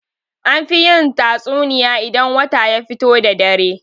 An fi yin tatsuniya idan wata ya fito da dare.